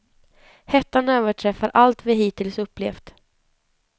Hettan överträffar allt vi hittills upplevt.